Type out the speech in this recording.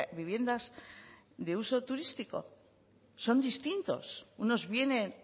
viviendas de uso turístico son distintos unos vienen